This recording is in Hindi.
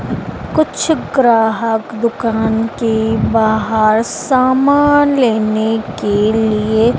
कुछ ग्राहक दुकान के बाहर सामान लेने के लिए--